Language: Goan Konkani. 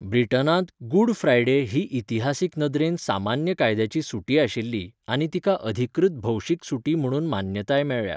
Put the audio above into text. ब्रिटनांत गुड फ्रायडे ही इतिहासीक नदरेन सामान्य कायद्याची सुटी आशिल्ली आनी तिका अधिकृत भौशीक सुटी म्हणून मान्यताय मेळ्ळ्या.